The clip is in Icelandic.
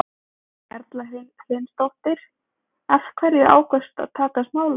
Erla Hlynsdóttir: Af hverju ákvaðstu að taka smálán?